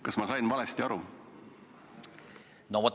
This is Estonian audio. Kas ma sain valesti aru?